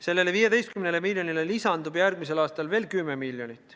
Sellele 15 miljonile lisandub järgmisel aastal veel 10 miljonit.